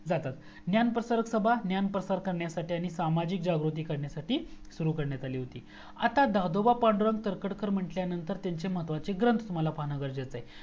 जातात ज्ञान प्रचारक सभा ज्ञान प्रचार करण्यासाठी आणि सामाजिक जागृती करण्यासाठी सुरू करण्यात आली होती आता दादोबा पादुरंग तरखडकर म्हंटल्यानंतर त्यांचे महत्वाचे ग्रंथ मला पाहण्याची गरज आहे